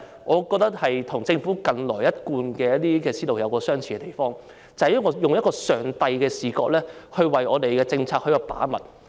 我認為，這與政府近來的思路有相似之處，就是以上帝的視覺來為我們的政策把脈。